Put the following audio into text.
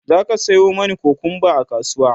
zaka Sayo mani kukumba a kasuwa?